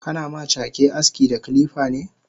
Kana ma cake aski da kilifane?